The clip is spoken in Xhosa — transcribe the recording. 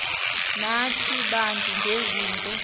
nathi bantu ngezinto